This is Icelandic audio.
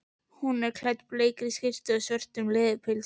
Svo er hún klædd bleikri skyrtu og svörtu leðurpilsi.